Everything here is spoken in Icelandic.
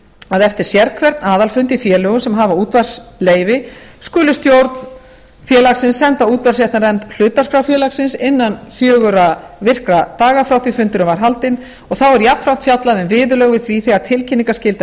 að eftir sérhvern aðalfund í félögum sem hafa útvarpsleyfi skuli stjórn félagsins senda útvarpsréttarnefnd hlutaskrá félagsins innan fjögurra virkra daga frá því fundurinn var haldinn þá er jafnframt fjallað um viðurlög við því þegar tilkynningarskylda er